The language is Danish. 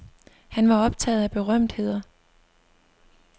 Han var optaget af berømtheder.